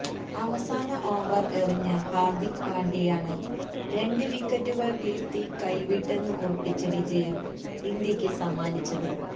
അവസാന ഓവര് എറിഞ്ഞ ഹാര്ദിക് പാണ്ഡ്യയാണ് രണ്ട് വിക്കറ്റുകള് വീഴ്ത്തി കൈവിട്ടെന്ന് ഉറപ്പിച്ച വിജയം ഇന്ത്യക്ക് സമ്മാനിച്ചത്